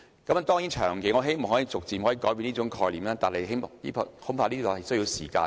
我當然希望長遠來說可以逐漸改變這種概念，但恐怕需要一些時間。